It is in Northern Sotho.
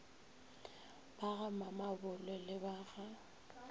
ba gamamabolo le ba ga